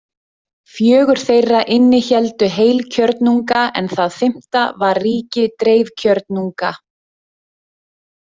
Fjögur þeirra innihéldu heilkjörnunga en það fimmta var ríki dreifkjörnunga.